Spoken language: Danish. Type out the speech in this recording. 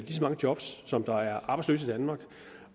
så mange job som der er arbejdsløse i danmark